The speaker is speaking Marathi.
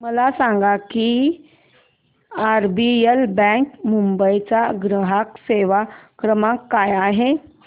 मला सांगा की आरबीएल बँक मुंबई चा ग्राहक सेवा क्रमांक काय आहे